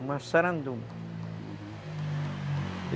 Massaranduba, uhum.